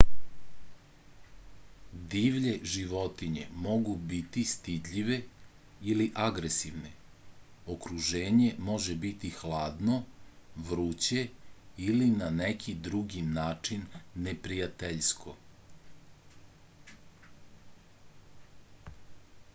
divlje životinje mogu biti stidljive ili agresivne okruženje može biti hladno vruće ili na neki drugi način neprijateljsko